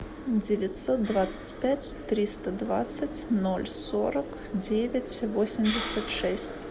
девятьсот двадцать пять триста двадцать ноль сорок девять восемьдесят шесть